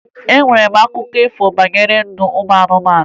E nwere akụkọ ifo banyere ndụ ụmụ anụmanụ